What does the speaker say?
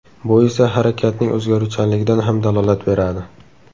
Bu esa harakatning o‘zgaruvchanligidan ham dalolat beradi.